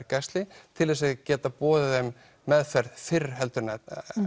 mergæxli til þess að geta boðið þeim meðferð fyrr heldur en